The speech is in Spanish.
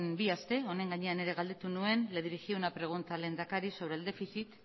bi aste honen gainean ere galdetu nuen le dirigí una pregunta al lehendakari sobre el déficit